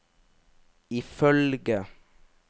ifølge